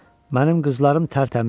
Mənim qızlarım tərtəmizdir.